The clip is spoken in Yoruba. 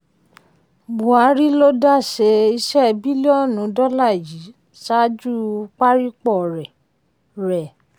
buhari ló dáṣẹ iṣẹ́ bílíọ̀nù dọ́là yìí ṣáájú parípò rẹ̀. rẹ̀.